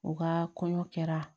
O ka kɔɲɔ kɛra